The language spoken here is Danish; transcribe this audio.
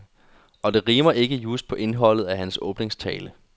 Og det rimer ikke just på indholdet af hans åbningstale.